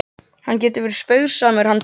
Hann getur verið spaugsamur hann Doddi.